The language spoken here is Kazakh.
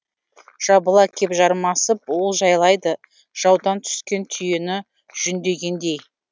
жабыла кеп жармасып олжалайды жаудан түскен түйені жүндегендей